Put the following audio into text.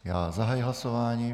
Já zahajuji hlasování.